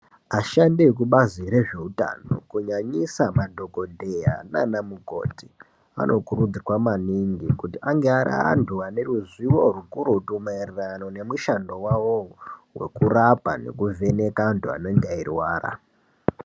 Ashandi vekubazi rezveutano kunyanya madhokodheya neanamukoti anokurudzirwa maningi kuti anga ariantu aneruzivo zvikurutu maererano nemushando wawo wokurapa nekuvheneka antu anenge eirwara